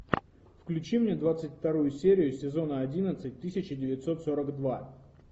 включи мне двадцать вторую серию сезона одиннадцать тысяча девятьсот сорок два